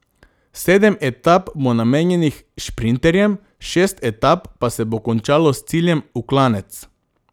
Sedem etap bo namenjenih šprinterjem, šest etap pa se bo končalo s ciljem v klanec.